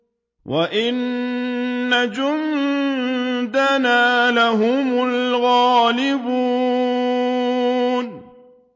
وَإِنَّ جُندَنَا لَهُمُ الْغَالِبُونَ